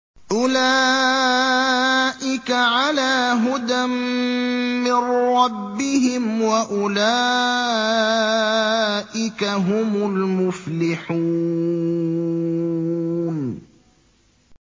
أُولَٰئِكَ عَلَىٰ هُدًى مِّن رَّبِّهِمْ ۖ وَأُولَٰئِكَ هُمُ الْمُفْلِحُونَ